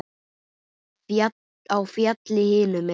Á fjallið hinum megin.